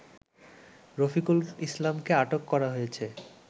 রফিকুল ইসলামকে আটক করা হয়েছে